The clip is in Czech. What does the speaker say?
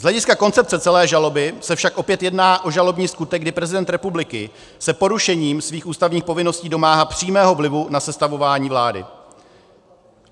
Z hlediska koncepce celé žaloby se však opět jedná o žalobní skutek, kdy prezident republiky se porušením svých ústavních povinností domáhá přímého vlivu na sestavování vlády.